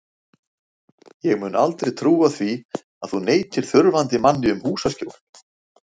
Ég mun aldrei trúa því að þú neitir þurfandi manni um húsaskjól.